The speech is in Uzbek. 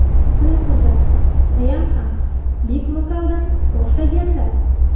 Bilasizlar ayam ham bek-vokaldan boshlaganlar.